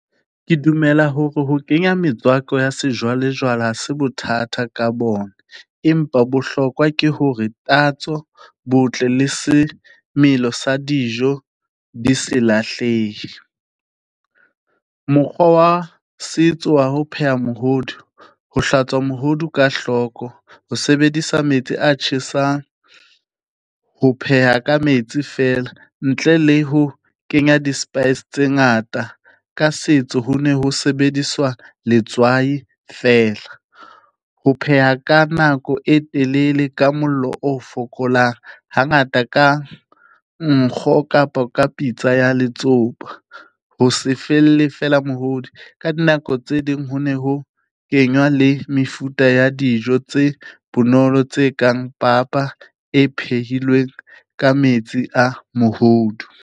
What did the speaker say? Ke dumela hore ho kenya metswako ya sejwalejwale ha se bothata ka bona, empa bohlokwa ke hore tatso, botle le semelo sa dijo di se lahlehe. Mokgwa wa setso wa ho pheha mohodu, ho hlwatswa mohodu ka hloko, ho sebedisa metsi a tjhesang, ho pheha ka metsi feela ntle le ho kenya di-spice tse ngata, ka setso ho ne ho sebediswa letswai fela. Ho pheha ka nako e telele ka mollo o fokolang ha ngata ka nkgo kapo ka pitsa ya letsopa, ho se felle fela mohodi. Ka dinako tse ding ho ne ho kenywa le mefuta ya dijo tse bonolo, tse kang papa e phehilweng ka metsi a mohodu.